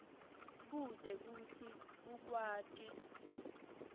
kute kutsi ukwati